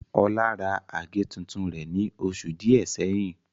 Olá ra àgé tuntun rẹ̀ ní oṣù díẹ̀ sẹ́yìn